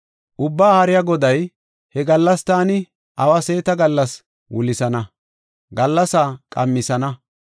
Ubbaa Haariya Goday, “He gallas taani awa seeta gallas wulisana; gallasaa qamisana.